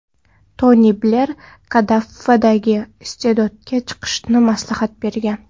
Toni Bler Kaddafiga iste’foga chiqishni maslahat bergan.